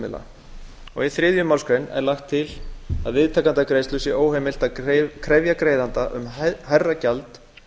greiðslumiðla í þriðju málsgrein er lagt til að viðtakanda greiðslu sé óheimilt að krefja greiðanda um hærra gjald